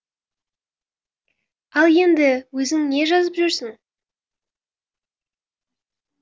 ал енді өзің не жазып жүрсің